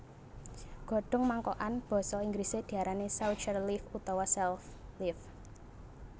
Godhong mangkokan basa Inggrisé diarani saucher leaf utawa sell leaf